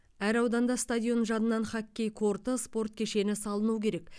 әр ауданда стадион жанынан хоккей корты спорт кешені салыну керек